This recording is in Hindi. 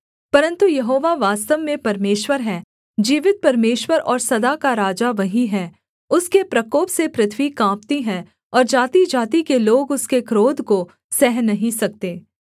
परन्तु यहोवा वास्तव में परमेश्वर है जीवित परमेश्वर और सदा का राजा वही है उसके प्रकोप से पृथ्वी काँपती है और जातिजाति के लोग उसके क्रोध को सह नहीं सकते